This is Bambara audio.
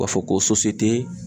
U b'a fɔ ko